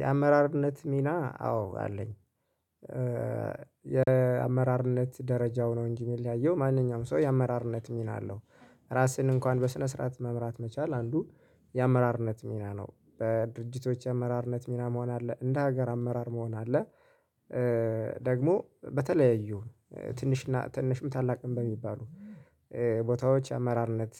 የአመራርነት ሚና አዎ አለኝ። የአመራርነት ደረጃው ነው እንጂ ሚለያየው ማንኛውም ሰው የአመራርነት ሚና አለው። ራስን እንኳን በስነ ስርዓት መምራት መቻል አንዱ የአመራርነት ሚና ነው። በድርጅቶች የአመራርነት ሚና መሆን አለ እንደ ሀገር አመራር መሆን አለ። ደግሞ በተለያዩ ትንሽና ትንሽም ታላቅም በሚባሉ ቦታዎች አመራርነት